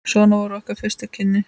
Svona voru okkar fyrstu kynni.